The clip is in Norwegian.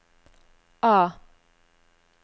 A